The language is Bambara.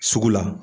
Sugu la